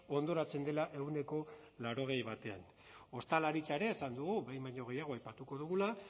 hondoratzen dela ehuneko laurogei batean ostalaritza ere esan dugu behin baino gehiago aipatuko dugula